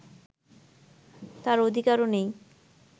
তাঁর অধিকারও নেই